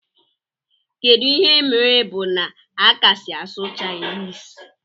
Kedu ihe mere bu na akasi asụ chinese?